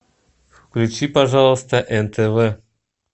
включи пожалуйста нтв